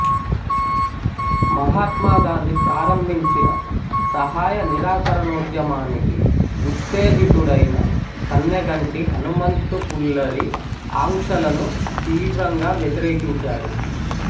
మహాత్మా గాంధీ ప్రారంభించిన సహాయ నిరాకరనోధ్యమానికి ఉతేజితుడైన కన్నెగంటి హనుమంతు పుల్లరి ఆంక్షలను తీవ్రంగా వ్యతిరేకించాడు